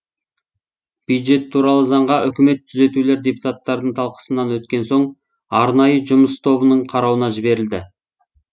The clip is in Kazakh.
бюджет туралы заңға үкіметтік түзетулер депутаттардың талқысынан өткен соң арнайы жұмыс тобының қарауына жіберілді